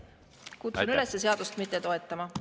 Kutsun üles seadust mitte toetama.